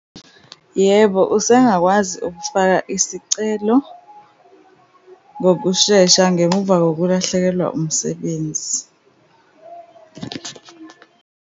Yebo, usengakwazi ukufaka isicelo ngokushesha ngemuva kokulahlekelwa umsebenzi.